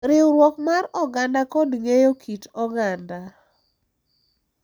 Riwruok mar oganda kod ng’eyo kit oganda.